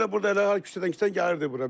Ora elə burda elə küçədən gəlirdi bura.